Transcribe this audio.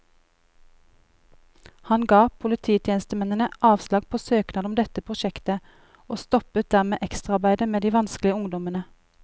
Han ga polititjenestemennene avslag på søknad om dette prosjektet, og stoppet dermed ekstraarbeidet med de vanskelige ungdommene.